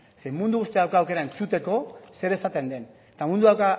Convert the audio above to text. ze mundu guztiak dauka aukera entzuteko zer esaten den eta mundu guztiak